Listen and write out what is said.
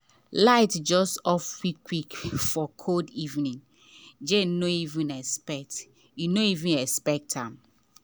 light just off quick quick for cold evening jane no even expect no even expect am.